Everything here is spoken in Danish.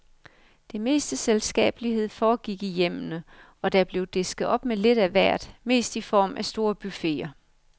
Det meste selskabelighed foregik i hjemmene, og der blev disket op med lidt af hvert, mest i form af store buffeter.